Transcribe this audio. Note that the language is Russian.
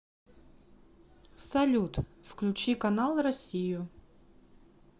салют включи канал россию